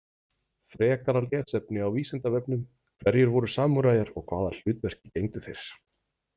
Frekara lesefni á Vísindavefnum: Hverjir voru samúræjar og hvaða hlutverki gegndu þeir?